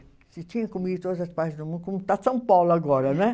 Você tinha como ir em todas as partes do mundo, como está São Paulo agora, não é?